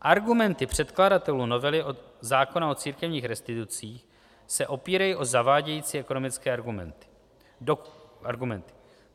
Argumenty předkladatelů novely zákona o církevních restitucích se opírají o zavádějící ekonomické argumenty.